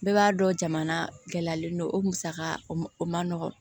Bɛɛ b'a dɔn jamana gɛlɛyalen don o musaka o ma nɔgɔ